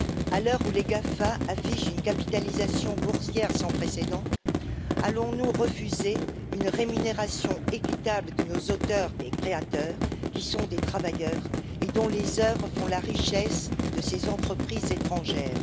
À l'heure où les GAFA affichent une capitalisation boursière sans précédent, allons nous refuser une rémunération équitable de nos auteurs et de nos créateurs, qui sont des travailleurs et dont les œuvres font la richesse de ces entreprises étrangères?